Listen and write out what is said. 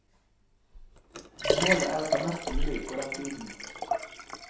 Målet er å ta mest mulig på den tiden.